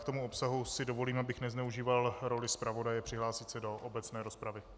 K tomu obsahu si dovolím, abych nezneužíval roli zpravodaje, přihlásit se do obecné rozpravy.